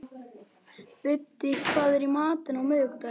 Biddi, hvað er í matinn á miðvikudaginn?